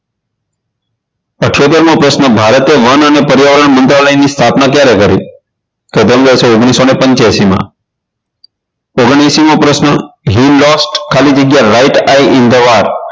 ઈઠોતેર મો પ્રશ્ન ભારતે વન અને પર્યાવરણ મુન્દ્રાલયની સ્થાપના ક્યારે કરી તો આવશે ઓગણીસો ને પંચ્યાસીમાં ઓગણએંશી મો પ્રશ્ન hill dogs ખાલી જગ્યા right i in the world